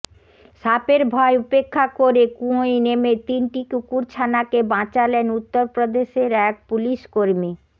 সাপের ভয় উপেক্ষা করে কুয়োয় নেমে তিনটি কুকুরছানাকে বাঁচালেন উত্তরপ্রদেশের এক পুলিশকর্মী